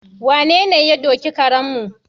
Wanene ta doki karenmu?